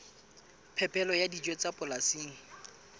phepelo ya dijo tsa polasing